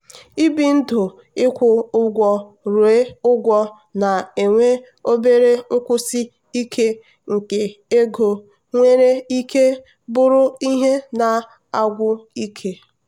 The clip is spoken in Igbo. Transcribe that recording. ibi ndụịkwụ ụgwọ ruo ụgwọ na-enwe obere nkwụsi ike nke ego nwere ike bụrụ ihe na-agwụ ike.